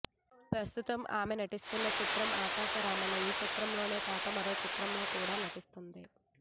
ప్రస్తుతం ఆమె నటిస్తున్న చిత్రం ఆకాశరామన్న ఈ చిత్రం కాక మరో చిత్రంలో కూడా నటిస్తుంది